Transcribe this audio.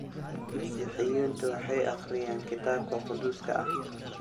Masiixiyiintu waxay akhriyaan Kitaabka Quduuska ah.